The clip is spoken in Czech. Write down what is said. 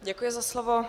Děkuji za slovo.